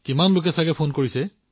ইমান লোকৰ ফোন আহি আছে